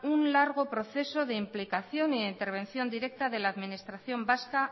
un largo proceso de implicación y de intervención directa de la administración vasca